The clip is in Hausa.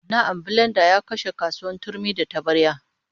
Na'am, bilenda ya kashe kasuwar turmi da tabarya